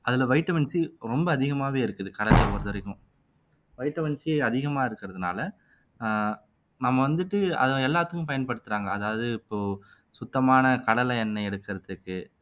அதுல vitamin C ரொம்ப அதிகமாவே இருக்குது கடலை பொறுத்தவரைக்கும் வைட்டமின் C அதிகமாக இருக்கிறதுனால ஆஹ் நம்ம வந்துட்டு அது எல்லாத்துக்கும் பயன்படுத்துறாங்க அதாவது இப்போ சுத்தமான கடலை எண்ணெய் எடுக்கிறதுக்கு